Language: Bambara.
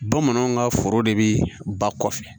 Bamananw ka foro de bi ba kɔfɛ